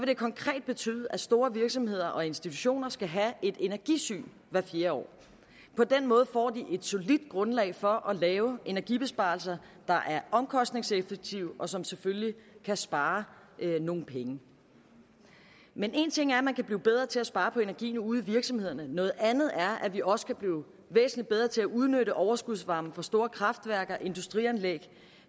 det konkret betyde at store virksomheder og institutioner skal have et energisyn hvert fjerde år på den måde får de solidt grundlag for at lave energibesparelser der er omkostningseffektive og som selvfølgelig kan spare nogle penge men en ting er at man kan blive bedre til at spare på energien ude i virksomhederne noget andet er at vi også kan blive væsentlig bedre til at udnytte overskudsvarme fra store kraftværker industrianlæg